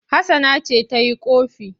Hassana ce ta yi ƙofi.